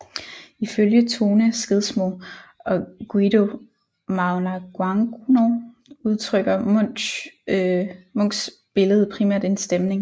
Ifølge Tone Skedsmo og Guido Magnaguagno udtrykker Munchs billede primært en stemning